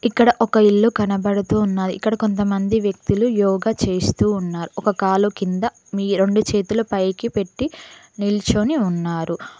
ఇక్కడ ఒక ఇల్లు కనబడుతున్నారు ఇక్కడ కొంతమంది వ్యక్తులు యోగ చేస్తూ ఉన్నారు ఒక కాలు కింద మీ రెండు చేతుల పైకి పెట్టి నిల్చొని ఉన్నారు.